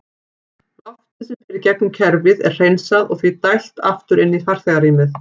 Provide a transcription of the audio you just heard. Loftið sem fer í gegnum kerfið er hreinsað og því dælt aftur inn í farþegarýmið.